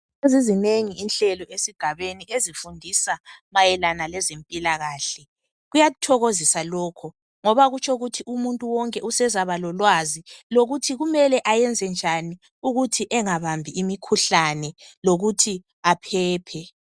Sezizinengi inhlelo esigabeni ezifundisa mayelana lezempilakahle. Kuyathokozisa lokhu ngoba kutsho ukuthi umuntu wonke usezaba lolwazi lokuthi kumele ayenze njani ukuthi engabambi imikhuhlane lokuthi aphephe.